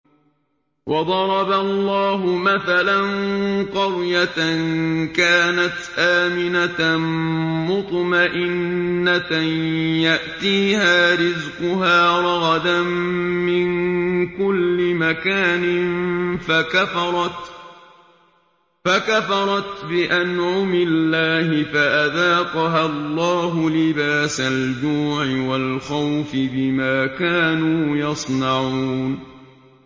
وَضَرَبَ اللَّهُ مَثَلًا قَرْيَةً كَانَتْ آمِنَةً مُّطْمَئِنَّةً يَأْتِيهَا رِزْقُهَا رَغَدًا مِّن كُلِّ مَكَانٍ فَكَفَرَتْ بِأَنْعُمِ اللَّهِ فَأَذَاقَهَا اللَّهُ لِبَاسَ الْجُوعِ وَالْخَوْفِ بِمَا كَانُوا يَصْنَعُونَ